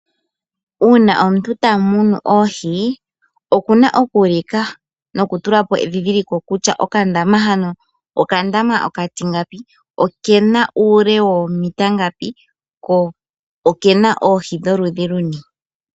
Uuna omuntu tamunu oohi okuna okuulika nokutulapo edhidhiliko kutya okandama hano okandama okatingapi okena uule woomita ngapi ko okena oohi dholudhi luni.